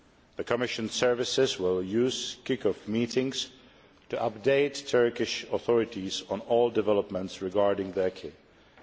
The Commission services will use kick off meetings to update the Turkish authorities on all developments regarding the acquis.